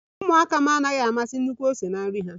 Ụmụaka m anaghi amasi nnukwu ose na nri ha